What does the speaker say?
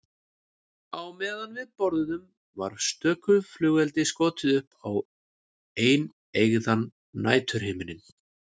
Á meðan við borðuðum var stöku flugeldi skotið upp á eineygðan næturhimininn.